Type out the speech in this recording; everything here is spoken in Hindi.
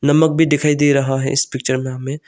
नमक भी दिखाई दे रहा है इस पिक्चर में हमें।